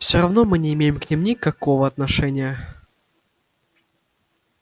всё равно мы не имеем к ним никакого отношения